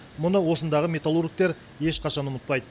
мұны осындағы металлургтер ешқашан ұмытпайды